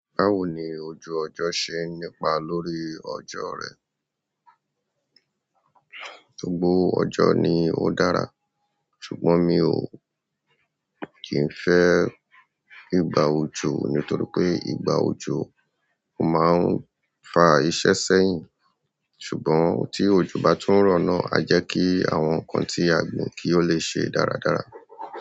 Báwo ni ojú ọjọ́ ṣe nípa lórí ọjọ́ rẹ? Gbogbo ọjọ ni ó dára, ṣùgbọ́n mi ò kì í fẹ́ ìgbà òjò nítorí pé ìgbà òjò máa ń fa iṣẹ́ sẹ́yìn, ṣùgbọ́n tí ojo bá tún rọ̀ náà, a jẹ́ kí àwọn nǹkan tí a gbìn kí ó lè ṣe dáradára.